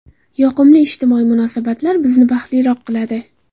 Yoqimli ijtimoiy munosabatlar bizni baxtliroq qiladi.